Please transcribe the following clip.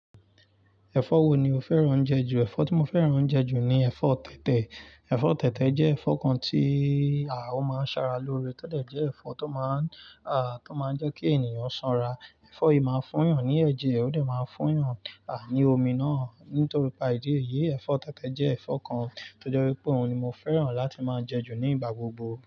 Ẹfọ wo ni o fẹ́ràn oúnjẹ jù? Ẹfọ tí mo fẹ́ràn oúnjẹ jù ni ẹ̀fọ́ tẹ̀tẹ̀. Ẹ̀fọ́ tẹ̀tẹ̀ jẹ́ ẹ̀fọ́ kan tí o máa ń sara lóore, to de jẹ́ ẹ̀fọ́ tó máa ń jẹ́ kí ènìyàn sanra. Ẹ̀fọ́ yìí máa ń fún yàn ní ẹ̀jẹ̀, ó de máa ń fún yàn ní omi náà. Nítorípa ìdí èyí, ẹ̀fọ́ tẹ̀tẹ̀ jẹ́ ẹ̀fọ́ kan tó jọ́ wípé òun ni mo fẹ́ràn láti máa ń jẹ́ jù ní ìgbà gbogbo.